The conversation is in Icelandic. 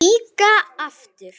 Víkka aftur.